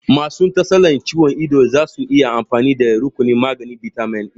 Masu tsalar ciwon ido zasu iya amfani da rukunin maganin bitamin E